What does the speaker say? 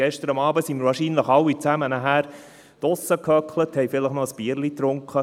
Gestern Abend waren wir wohl nachher alle draussen und haben vielleicht noch ein Bierchen getrunken.